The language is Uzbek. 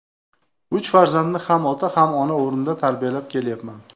Uch farzandni ham ota, ham ona o‘rnida tarbiyalab kelyapman.